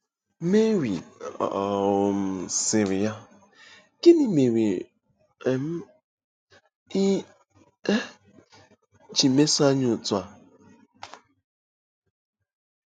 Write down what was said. Meri um sịrị ya: “Gịnị mere um i um ji meso anyị otú a?